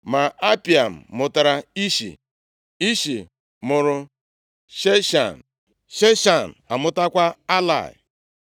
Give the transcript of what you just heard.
Ma Apaim mụtara Ishi. Ishi mụrụ Sheshan, Sheshan amụtakwa Alai.